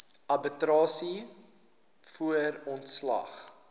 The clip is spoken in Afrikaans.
arbitrasie voor ontslag